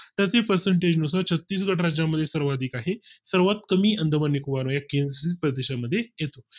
त्याचे percentage नुसार छत्तीसगढ राज्या मध्ये सर्वाधिक आहे सर्वात कमी अंदमान निकोबार मुळे प्रदेश मध्ये येतो